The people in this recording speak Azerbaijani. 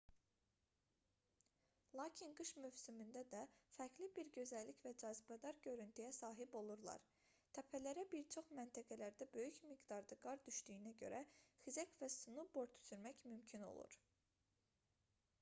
lakin qış mövsümündə də fərqli bir gözəllik və cazibədar görüntüyə sahib olurlar təpələrə bir çox məntəqələrdə böyük miqdarda qar düşdüyünə görə xizək və snoubord sürmək mümkün olur